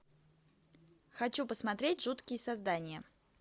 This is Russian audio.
хочу посмотреть жуткие создания